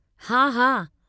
हा, हा।